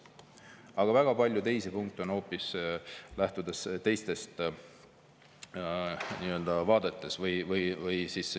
Aga väga paljud teised punktid lähtuvad hoopis teistest vaatevinklitest.